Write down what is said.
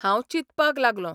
हांव चिंतपाक लागलों....